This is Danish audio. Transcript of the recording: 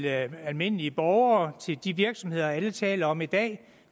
almindelige borgere til de virksomheder alle taler om i dag